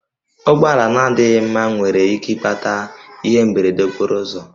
Ụgbọala na-adịghị mma nwere ike ịkpata ihe mberede okporo ụzọ